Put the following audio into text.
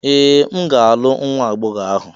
Ee! M ga-alụ nwa agbọghọ ahụ